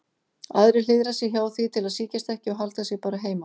Aðrir hliðra sér hjá því til að sýkjast ekki og halda sig bara heima.